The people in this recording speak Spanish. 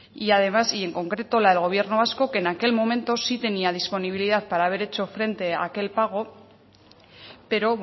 y además y en concreto la del gobierno vasco que en aquel momento sí tenía disponibilidad para haber hecho frente aquel pago pero